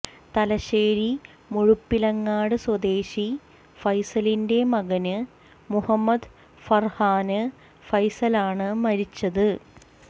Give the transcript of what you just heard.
തലശ്ശേരി മുഴുപ്പിലങ്ങാട് സ്വദേശി ഫൈസലിന്റെ മകന് മുഹമ്മദ് ഫര്ഹാന് ഫൈസലാണ് മരിച്ചത്